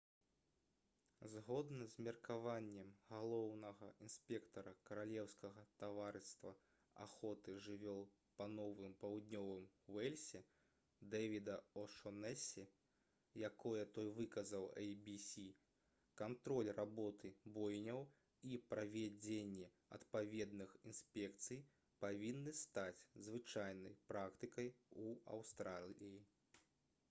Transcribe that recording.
згодна з меркаваннем галоўнага інспектара каралеўскага таварыства аховы жывёл па новым паўднёвым уэльсе дэвіда о'шонэсі якое той выказаў «эй-бі-сі» кантроль работы бойняў і правядзенне адпаведных інспекцый павінны стаць звычайнай практыкай у аўстраліі